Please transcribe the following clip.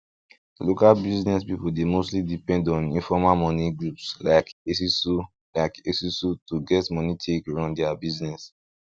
local business people dey mostly depend on informal moni groups like esusu like esusu to get money take run dia business